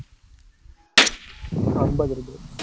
ஐம்பது ரூபாய்